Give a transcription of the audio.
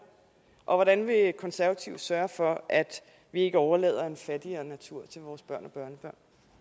og hvordan vil konservative sørge for at vi ikke overlader en fattigere natur til vores børn